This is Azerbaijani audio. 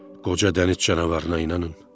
Qoca dəniz canavarına inanın.